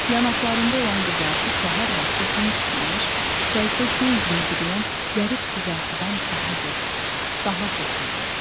Yanaqlarında olan qızartı səhər vaxtı gün çıxmamış şərqdə göy üzünü bürüyən zərif qızartıdan daha gözəl, daha xoş idi.